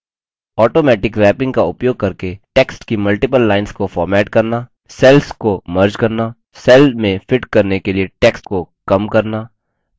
automatic wrapping का उपयोग करके टेक्स्ट की मल्टिपल लाइन्स को फॉर्मेट करना सेल्स को मर्ज करना सेल में फिट करने के लिए टेक्स्ट को कमश्रिंक करना